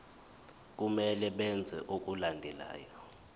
kumele benze okulandelayo